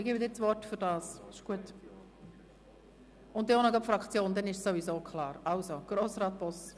Ich gebe dem Mitmotionär Grossrat Boss das Wort für Ergänzungen zur Motion 210-2016 und dann auch gerade noch für das Fraktionsvotum.